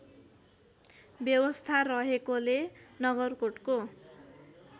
व्यवस्था रहेकोले नगरकोटको